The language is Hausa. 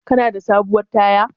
Kana da sabuwar taya?